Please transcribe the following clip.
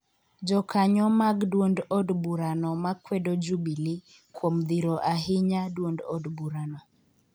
jokanyo mag duond od burano makwedo Jubilee kuom dhiro ahinya duond od burano